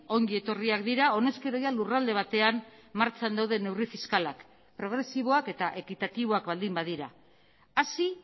ongi etorriak dira honezkero lurralde batean martxan dauden neurri fiskalak progresiboak eta ekitatiboak baldin badira hasi